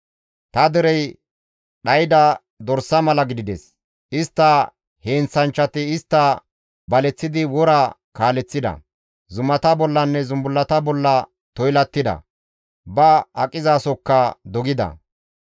«Ta derey dhayda dorsa mala gidides; istta heenththanchchati istta baleththidi wora kaaleththida; zumata bollanne zumbullata bolla toylattida; ba aqizasokka dogida.